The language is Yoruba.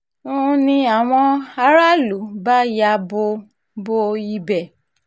ń ní àwọn aráàlú bá ya bo bo ibẹ̀